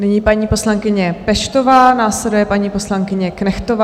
Nyní paní poslankyně Peštová, následuje paní poslankyně Knechtová.